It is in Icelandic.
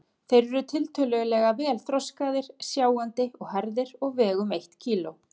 Þeir eru tiltölulega vel þroskaðir, sjáandi og hærðir og vega um eitt kíló.